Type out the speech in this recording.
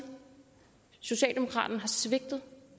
socialdemokraterne har svigtet